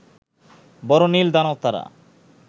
বড় নীল দানব তারা